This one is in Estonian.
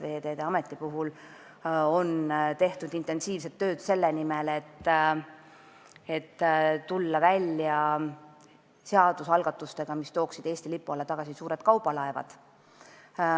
Veeteede Ametis on tehtud intensiivset tööd selle nimel, et tulla välja seadusalgatustega, mis tooksid Eesti lipu alla tagasi suured kaubalaevad.